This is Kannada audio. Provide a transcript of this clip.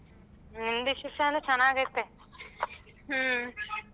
ನಿನ್ decision ನು ಚೆನ್ನಾಗೈತೆ.